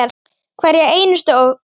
Hverja einustu krónu.